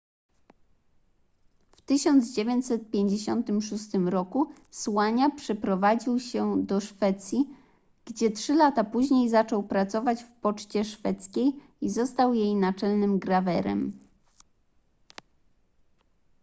w 1956 r słania przeprowadził się do szwecji gdzie trzy lata później zaczął pracować w poczcie szwedzkiej i został jej naczelnym grawerem